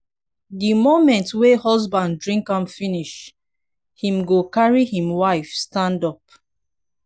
di moment wey husband drink am finish him go carry him wife stand up